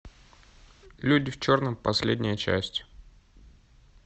люди в черном последняя часть